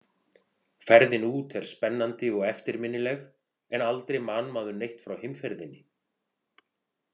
Ferðin út er spennandi og eftirminnileg en aldrei man maður neitt frá heimferðinni.